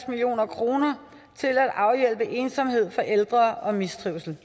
million kroner til at afhjælpe ensomhed og mistrivsel